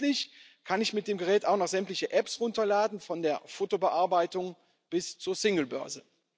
Und schließlich kann ich mit dem Gerät auch noch sämtliche Apps herunterladen von der Fotobearbeitung bis zur Singlebörse.